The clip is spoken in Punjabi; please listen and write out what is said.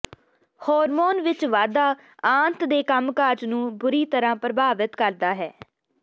ਹਾਰਮੋਨ ਵਿੱਚ ਵਾਧਾ ਆੰਤ ਦੇ ਕੰਮਕਾਜ ਨੂੰ ਬੁਰੀ ਤਰ੍ਹਾਂ ਪ੍ਰਭਾਵਿਤ ਕਰਦਾ ਹੈ